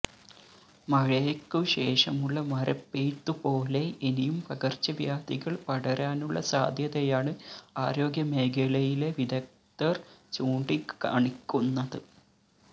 മഴയ്ക്കു ശേഷമുള്ള മരപ്പെയ്ത്തുപോലെ ഇനിയും പകർച്ചവ്യാധികള് പടരാനുള്ള സാധ്യതയാണ് ആരോഗ്യമേഖലയിലെ വിദഗ്ധർ ചൂണ്ടിക്കാണിക്കുന്നത്